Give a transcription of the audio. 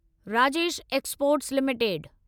Rajesh exports limited